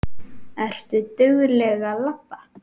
Ertu dugleg að labba?